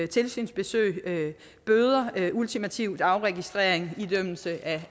tilsynsbesøg bøder ultimativt afregistrering og idømmelse